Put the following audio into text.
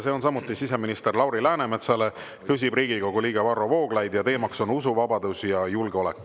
See on samuti siseminister Lauri Läänemetsale, küsib Riigikogu liige Varro Vooglaid ja teema on usuvabadus ja julgeolek.